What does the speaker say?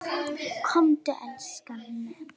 Komdu elskan!